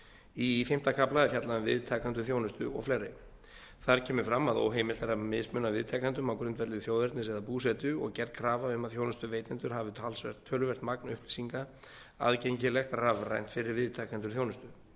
í fimmta kafla er fjallað um viðtakendur þjónustu og fleira þar kemur fram að óheimilt er að mismuna viðtakendum á grundvelli þjóðernis eða búsetu og gerð krafa um að þjónustuveitendur hafi töluvert magn upplýsinga aðgengilegt rafrænt fyrir viðtakendur þjónustu